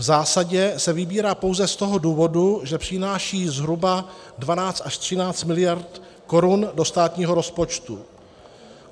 V zásadě se vybírá pouze z toho důvodu, že přináší zhruba 12 až 13 miliard korun do státního rozpočtu.